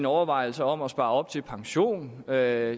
overvejelser om at spare op til pension hvad